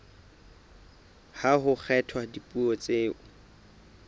ha ho kgethwa dipuo tseo